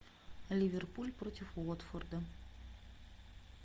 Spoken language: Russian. ливерпуль против уотфорда